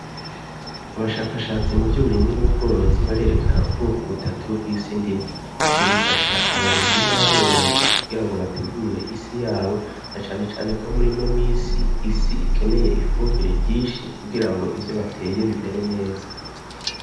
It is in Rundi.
Abashakashatsi mu vy'uburimwi n'ubworozi barerekana ubwoko butatu bw'isi ndimwa. Ivyo bifasha abarimyi n'aborozi kugira ngo bategure isi yabo na cane cane ko muri ino minsi, isi ikeneye ifumbire ryishi kugira ngo ivyo bateye bimere neza.